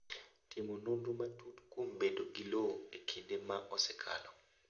Timo nonro matut kuom bedo gi lowo e kinde ma osekalo.